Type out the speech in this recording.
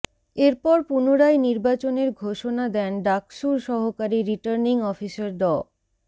এরপর পুনরায় নির্বাচনের ঘোষণা দেন ডাকসুর সহকারী রিটার্নিং অফিসার ড